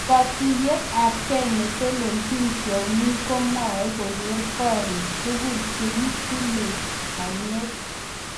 Kotuiyet ap.kei netelelchin tyong'ik komwoe keger korik tugul chegitilei. panyek